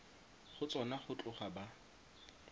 go tsona go tloga ba